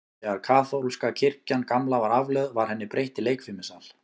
Þegar kaþólska kirkjan gamla var aflögð, var henni breytt í leikfimisal.